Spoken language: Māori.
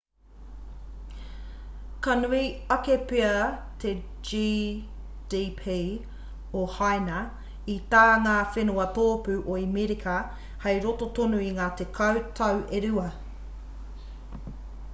ka nui ake pea te gdp o haina i tā ngā whenua tōpū o amerika hei roto tonu i ngā tekau tau e rua